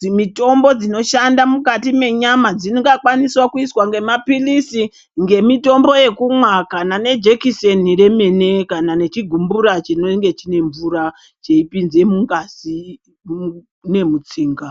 dzinotombo dzinoshanda mukati menyama dzingakwanisawo kuizwa nemapilizi ,ngemitombo yekumwa kana nemijekiseni remene kana nechigumbura chinenge chine mvura cheipinze mungazi nemutsinga.